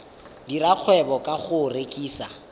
dira kgwebo ka go rekisa